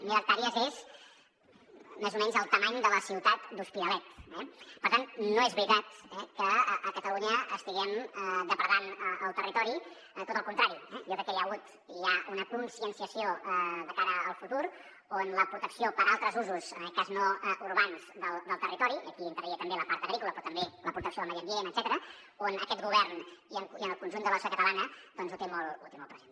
mil hectàrees és més o menys la mida de la ciutat de l’hospitalet eh per tant no és veritat que a catalunya estiguem depredant el territori al contrari jo crec que hi ha hagut i hi ha una conscienciació de cara al futur en la protecció per a altres usos en aquest cas no urbans del territori i aquí hi entraria també la part agrícola però també la protecció del medi ambient etcètera que el govern i el conjunt de la societat catalana doncs ho tenen molt present